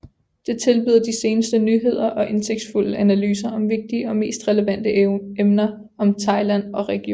Det tilbyder de seneste nyheder og indsigtsfulde analyser om vigtige og mest relevante emner om Thailand og regionen